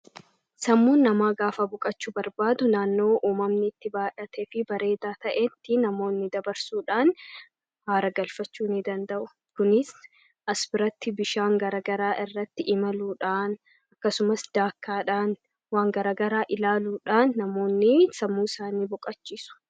Sammuun namaa gaafa buqachuu barbaadu . Naannoo uumamniitti baadhate fi bareedaa ta'etti namoonni dabarsuudhaan aara galfachuu ni danda'u. kunis asbiratti bishaan garagaraa irratti imaluudhaan akkasumas daakkaadhaan waan garagaraa ilaaluudhaan namoonni sammuu isaanii boqachiisu.